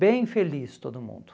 Bem feliz todo mundo.